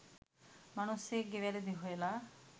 මනුස්සයෙක්ගෙ වැරදි හොයල